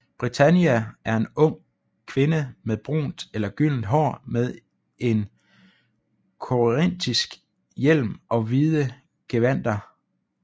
Britannia er en ung kvinde med brunt eller gyldent hår med en korintisk hjelm og hvide gevandter